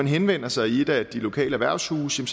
henvender sig i et af de lokale erhvervshuse